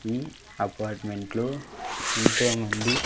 ఈ అపార్ట్మెంట్ లో ఎంతోమంది.